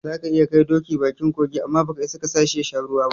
Zaka iya kai doki bakin kogi, amma baka isa kasashi yasha ruwan ba